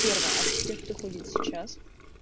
первое от тех кто ходит сейчас